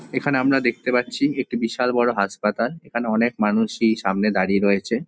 এখানে আমরা দেখতে পাচ্ছি একটি বিশাল বড় হাসপাতাল। এখানে অনেক মানুষই সামনে দাঁড়িয়ে রয়েছে।